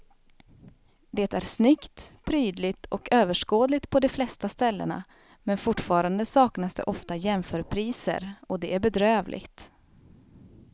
Det är snyggt, prydligt och överskådligt på de flesta ställena men fortfarande saknas det ofta jämförpriser och det är bedrövligt.